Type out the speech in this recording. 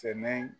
Sɛnɛ